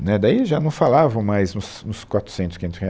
Né, daí já não falavam mais nos nos quatrocentos, quinhentos reais